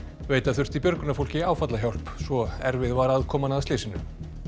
veita þurfti björgunarfólki áfallahjálp svo erfið var aðkoman að slysinu